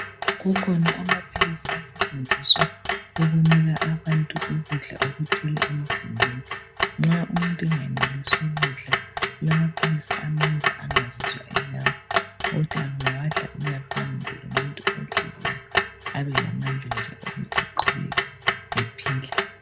Kukhona amaphilisi setshenziswa ukunika abantu ukudla okuthile emzimbeni nxa umuntu engenelisi ukudla kulamaphilisi amenza angazizwa elalamba ukuthi engawadla uyafana lomuntu odlileyo abelamandla wokuthi aqubeke ephila.